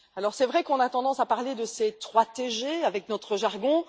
C'est vrai qu'on a tendance à parler de ces 3 TG dans notre jargon.